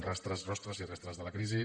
rastres rostres i restes de la crisi